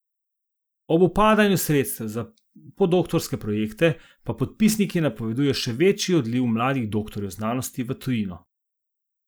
Ob upadanju sredstev za podoktorske projekte pa podpisniki napovedujejo še večji odliv mladih doktorjev znanosti v tujino.